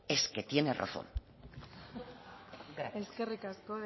es que tiene razón gracias eskerrik asko